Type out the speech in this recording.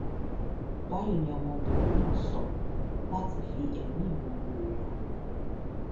báyìí ni ọmọbìnrin náà sọ láti fi ẹmí ìmoore rẹ hàn